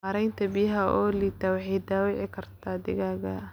Maaraynta biyaha oo liidata waxay dhaawici kartaa digaagga.